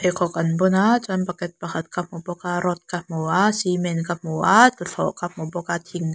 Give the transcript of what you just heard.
khawk an bun a chuan bucket pakhat ka hmu bawk a rod ka hmu a cement ka hmu a tluthlawh ka hmu bawk a thing --